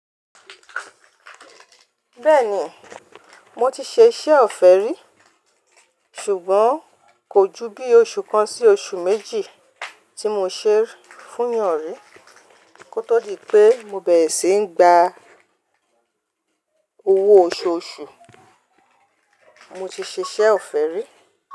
Bẹ́ẹ̀ni, mo ti ṣe iṣẹ́ ọ̀fẹ́ rí, ṣùgbọ́n kò ju bí oṣù kan sí oṣù méjì tí mo ṣe é fún yàn rí kó tó di pé mo bẹ̀rẹ̀ síi gba owó oṣooṣù mo ti ṣe iṣẹ́ ọ̀fẹ́ rí.